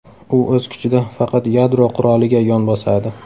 U o‘z kuchida faqat yadro quroliga yon bosadi.